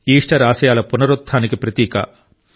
Easter ఆశయాల పునరుత్థానానికి ప్రతీక